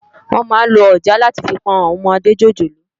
Wòn má n ló òjàá làtí fi pòn áwòn òmòdé jójólóò